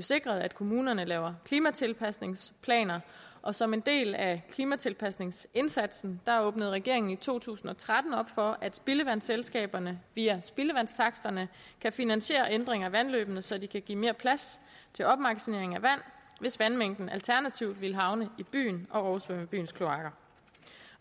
sikret at kommunerne laver klimatilpasningsplaner og som en del af klimatilpasningsindsatsen åbnede regeringen i to tusind og tretten op for at spildevandsselskaberne via spildevandstaksterne kan finansiere ændringer af vandløbene så de kan give mere plads til opmagasinering af vand hvis vandmængden alternativt ville havne i byen og oversvømme byens kloaker